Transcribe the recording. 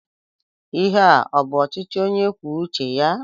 Ihe a ọ bụ ọchịchị onye kwuo uche ya?